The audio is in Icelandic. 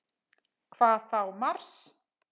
Hvað þá Mars!